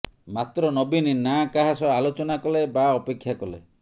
ମାତ୍ର ନବୀନ ନା କାହା ସହ ଆଲୋଚନା କଲେ ବା ଅପେକ୍ଷା କଲେ